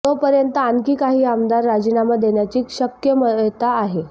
तोपर्यंत आणखी काही आमदार राजीनामा देण्याची शक्मयता आहे